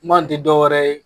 Man tɛ dɔw wɛrɛ ye